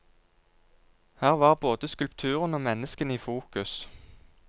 Her var både skulpturene og menneskene i fokus.